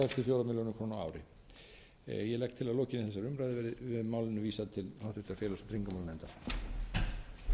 að lokinni þessari umræðu verði málinu vísað til félags og tryggingamálanefndar